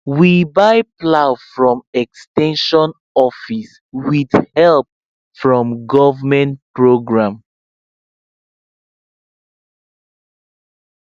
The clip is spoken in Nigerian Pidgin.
we buy plow from ex ten sion office with help from government program